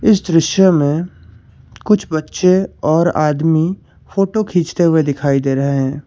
इस दृश्य में कुछ बच्चे और आदमी फोटो खींचते हुए दिखाई दे रहे हैं।